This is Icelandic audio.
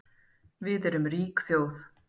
Við erum rík þjóð